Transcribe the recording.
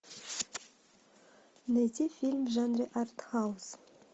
найти фильм в жанре артхаус